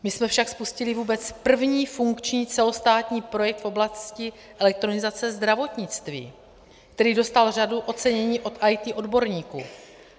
My jsme však spustili vůbec první funkční celostátní projekt v oblasti elektronizace zdravotnictví, který dostal řadu ocenění od IT odborníků.